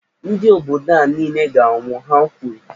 Ndị obodo a niile ga -anwụ, Ha kwuru.